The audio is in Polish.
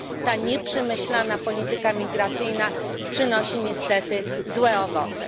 Ta nieprzemyślana polityka migracyjna przynosi niestety złe owoce.